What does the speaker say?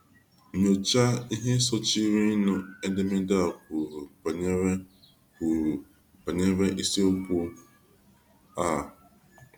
Nyochaa ihe sochirinụ edemede a kwuru banyere kwuru banyere isiokwu a.